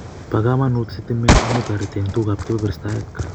Po kamanut stimet amu toriti eng tukuk ab kabebersataek